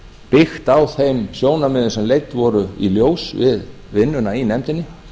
byggt á þeim sjónarmiðum sem leidd voru í ljós við vinnuna í nefndinni